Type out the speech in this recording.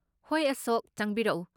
ꯍꯣꯏ ꯑꯁꯣꯛ, ꯆꯪꯕꯤꯔꯛꯎ꯫